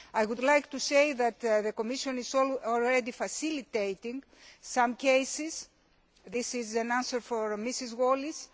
I would like to say that the Commission is already facilitating some cases this is in answer to Mrs Wallis.